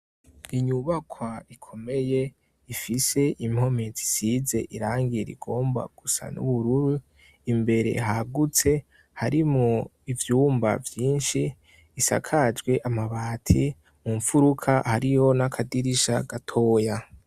Inyubakwa ikomeye ifise impome zisize irangira igomba gusa n'ubururu imbere hagutse hari mu ivyumba vyinshi isakajwe amabati mu mpfuruka hariyo n'akadirisha gatoya.